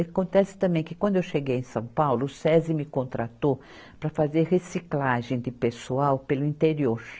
Acontece também que quando eu cheguei em São Paulo, o Sesi me contratou para fazer reciclagem de pessoal pelo interior.